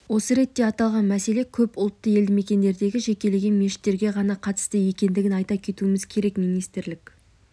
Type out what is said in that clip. осы ретте аталған мәселе көп ұлтты елдімекендердегі жекелеген мешіттерге ғана қатысты екендігін айта кетуіміз керек министрлік